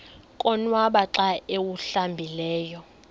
konwaba xa awuhlambileyo